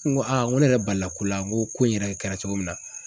N ko aa n ko ne yɛrɛ balila ko la n ko ko in yɛrɛ kɛra cogo min na